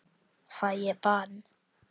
Fæ ég bann?